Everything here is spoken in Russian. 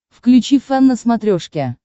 включи фэн на смотрешке